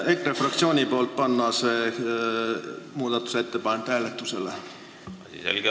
Palun EKRE fraktsiooni nimel panna see muudatusettepanek hääletusele!